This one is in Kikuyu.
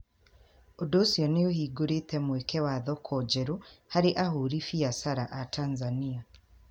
Ũndũ ũcio nĩ ũhingũrĩtĩ mweke wa thoko njerũ harĩ ahũri biacara a Tanzania.